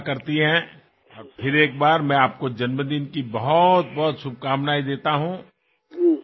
চিন্তা কৰক এফালে কিছুমান ঘৰ পোহৰেৰে উজ্বলি থাকিব আৰু আনফালে কিছুমান লোকৰ ঘৰত অন্ধকাৰে গ্ৰাস কৰিব